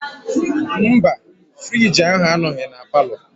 Mba frigi ahụ anọghị na palọ.